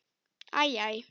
Æ, æ.